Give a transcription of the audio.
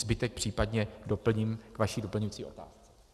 Zbytek případně doplním k vaší doplňující otázce.